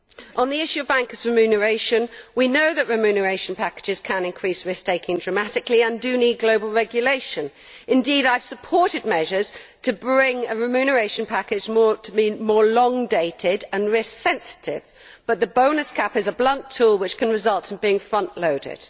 On the issue of bankers' remuneration, we know that remuneration packages can increase risk taking dramatically and do need global regulation. Indeed, I have supported measures to bring a remuneration package that is more long dated and risk sensitive, but the bonus cap is a blunt tool which can result in being front loaded.